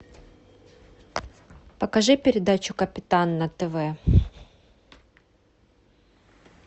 покажи передачу капитан на тв